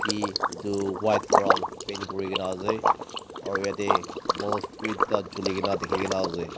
e etu white para paint kuri kena ase aro yate bulf bi duita juli kena dikhi kena ase.